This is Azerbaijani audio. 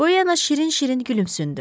Polyana şirin-şirin gülümsündü.